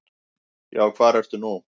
Já, hvar ertu nú?